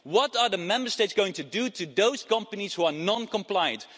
What are the Member States going to do to those companies who are non-compliant?